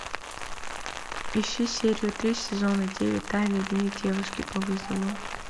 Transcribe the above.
ищи серию три сезона девять тайный дневник девушки по вызову